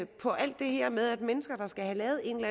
på alt det her med mennesker der skal have lavet en